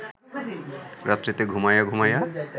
রাত্রিতে ঘুমাইয়া ঘুমাইয়া